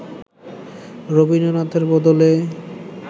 রবীন্দ্রনাথের বদলে